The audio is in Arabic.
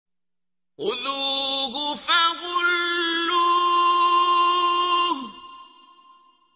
خُذُوهُ فَغُلُّوهُ